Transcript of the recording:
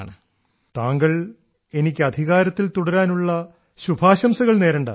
ശ്രീ രാജേഷ് താങ്കൾ എനിക്ക് അധികാരത്തിൽ തുടരാനുള്ള ശുഭാശംസകൾ നേരണ്ട